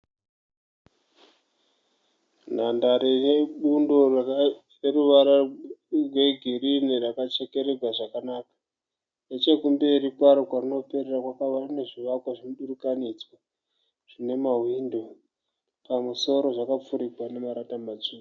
Nhandare yebundo rine ruvara rwegirini rakachekererwa zvakanaka. Nechekumberi kwaro kwarinoperera kune zvivakwa zvemudurikanidzwa zvine mahwindo pamusoro zvakapfirigwa nemarata matsvuku.